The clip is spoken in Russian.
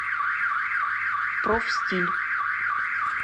профстиль